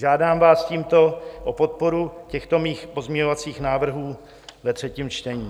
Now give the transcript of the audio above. Žádám vás tímto o podporu těchto mých pozměňovacích návrhů ve třetím čtení.